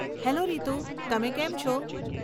Hello Ritu, તમે કેમ છો?